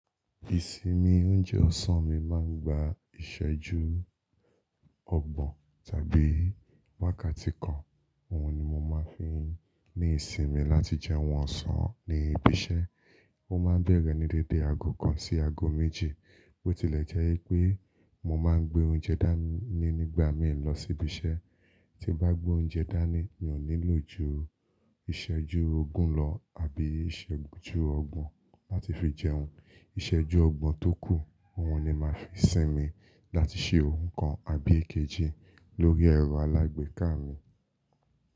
Ìsinmi oúnjẹ ọ̀sán mi máa ń gba ìsẹ́jú ọgbọ̀n tàbí wákàtí kan. Ohun ni mo máa ń fi ní ìsinmi láti jẹun ọ̀sán ní ibi iṣẹ́. Ó máa ń bẹ̀rẹ̀ ní dédé aago kan sí aago méjì. Bo tilẹ̀ jẹ́ pé mo máa ń gbé oúnjẹ dání nígbà míì lọ sí ibi iṣẹ́, tí bá gbé oúnjẹ dání, mi ò nílò ju ìsẹ́jú ogún lọ àbí ìsẹ́jú ọgbọ̀n láti fi jẹun. Ìsẹ́jú ọgbọ̀n tó kù, òhun ni màá fi sinmi láti ṣe òun kan àbí èkejì lórí ẹ̀rọ alágbèéká mi.